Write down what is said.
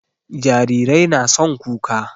Jarirai na son kuka